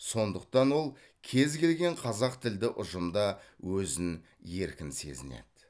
сондықтан ол кез келген қазақ тілді ұжымда өзін еркін сезінеді